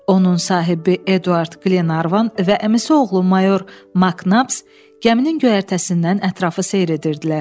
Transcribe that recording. Onun sahibi Eduard Glenarvan və əmisi oğlu mayor Maknabs gəminin göyərtəsindən ətrafı seyr edirdilər.